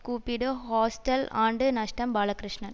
கூப்பிடு ஹாஸ்டல் ஆண்டு நஷ்டம் பாலகிருஷ்ணன்